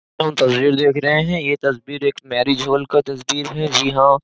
तस्बीर देख रहे है ये तस्बीर एक मैरिज हॉल का तस्बीर है जी हाँ --